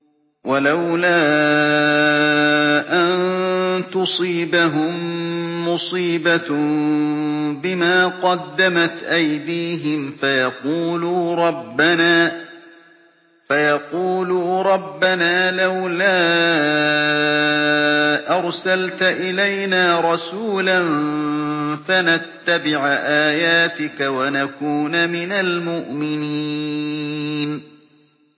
وَلَوْلَا أَن تُصِيبَهُم مُّصِيبَةٌ بِمَا قَدَّمَتْ أَيْدِيهِمْ فَيَقُولُوا رَبَّنَا لَوْلَا أَرْسَلْتَ إِلَيْنَا رَسُولًا فَنَتَّبِعَ آيَاتِكَ وَنَكُونَ مِنَ الْمُؤْمِنِينَ